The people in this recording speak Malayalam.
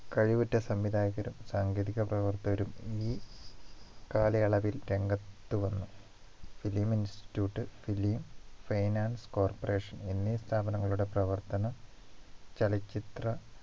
കഴിവുറ്റ സംവിധായകരും സാങ്കേതിക പ്രവർത്തകരും ഈ കാലയളവിൽ രംഗത്തു വന്നു film institute film finance corporation എന്നീ സ്ഥാപനങ്ങളുടെ പ്രവർത്തന ചലച്ചിത്ര